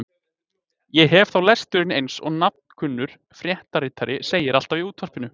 Ég hef þá lesturinn eins og nafnkunnur fréttaritari segir alltaf í útvarpinu.